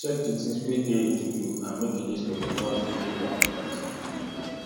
check di things wey dey to do and make a list of di ones wey dey important